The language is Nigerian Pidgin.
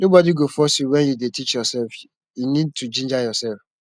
nobody go force you when you dey teach yourself you need to ginger yourself